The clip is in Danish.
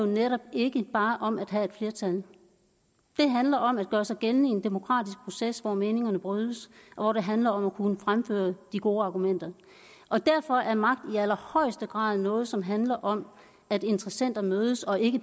netop ikke bare handler om at have et flertal det handler om at gøre sig gældende i en demokratisk proces hvor meningerne brydes og hvor det handler om at kunne fremføre de gode argumenter og derfor er magt i allerhøjeste grad noget som handler om at interessenter mødes og ikke